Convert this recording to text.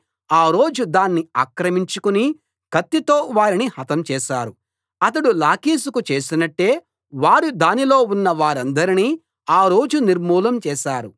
ఆ రోజు దాన్ని ఆక్రమించుకుని కత్తితో వారిని హతం చేశారు అతడు లాకీషుకు చేసినట్టే వారు దానిలో ఉన్నవారందరినీ ఆ రోజు నిర్మూలం చేశారు